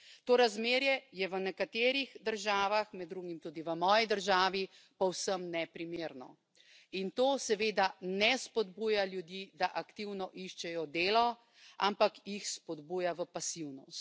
To razmerje je v nekaterih državah, med drugim tudi v moji državi, povsem neprimerno in to seveda ne spodbuja ljudi, da aktivno iščejo delo, ampak jih spodbuja v pasivnost.